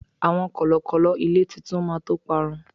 àwọn kọlọkọlọ ilé titu ma to parun